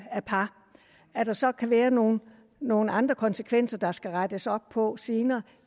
af par at der så kan være nogle nogle andre konsekvenser der skal rettes op på senere